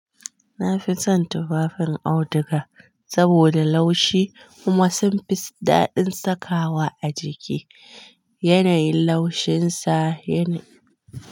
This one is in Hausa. Na fi son tufafin auduga saboda laushi kuma sun fi daɗin sakawa a jiki. Yanayin laushin sa yana.